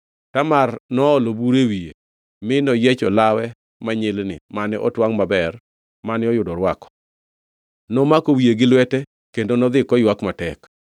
Tamar noolo buru e wiye mi noyiecho lawe manyilni mane otwangʼ maber mane oyudo orwako. Nomako wiye gi lwete kendo nodhi koywak matek.